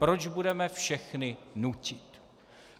Proč budeme všechny nutit?